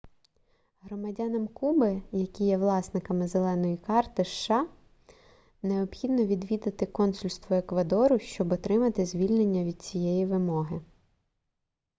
громадянам куби які є власниками зеленої карти сша необхідно відвідати консульство еквадору щоб отримати звільнення від цієї вимоги